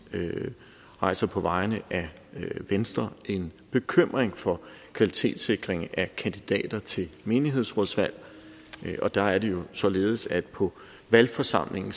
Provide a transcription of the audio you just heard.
rejser på vegne af venstre en bekymring for kvalitetssikringen af kandidater til menighedsrådsvalg og der er det jo således at på valgforsamlingen